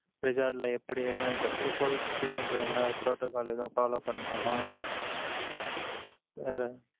Resort ல, எப்படி, எதுவும், இப்ப இப்ப covid situation ரனால protocol எதுவும், follow பண்ணணுமா வேற